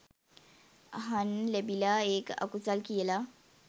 අහන්න ලැබිලා ඒක අකුසල් කියලා